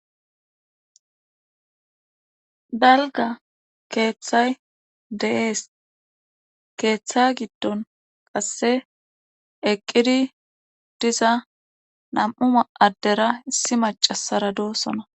Dalgga keethay de7ees keetha giddon qasse eqqida diza nam77u addera issi maccasara de7oosona.